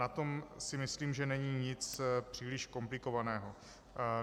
Na tom si myslím, že není nic příliš komplikovaného.